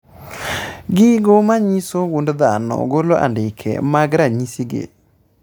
Gigo manyiso gund dhano golo andike mag ranyisi gi